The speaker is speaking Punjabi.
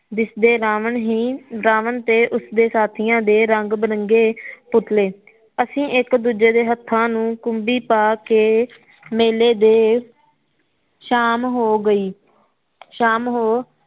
ਦਿਸਦੇ ਰਾਵਣ ਹੀ ਰਾਵਣ ਤੇ ਉਸ ਦੇ ਸਾਥੀਆਂ ਦੇ ਰੰਗ ਬਿਰੰਗੇ ਪੁਤਲੇ ਅਸੀ ਇਕ ਦੂਜੇ ਦੇ ਹੱਥਾਂ ਨੂੰ ਕੂਬੀ ਪਾ ਕੇ ਮੇਲੇ ਦੇ ਸ਼ਾਮ ਹੋ ਗਈ ਸ਼ਾਮ ਹੋ